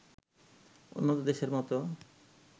উন্নত দেশের মতো